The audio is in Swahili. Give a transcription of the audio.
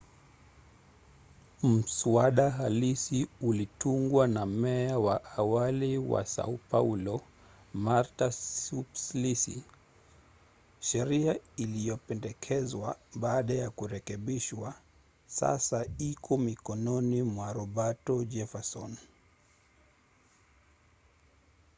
mswada halisi ulitungwa na meya wa awali wa sao paulo marta suplicy. sheria iliyopendekezwa baada ya kurekebishwa sasa iko mikononi mwa roberto jefferson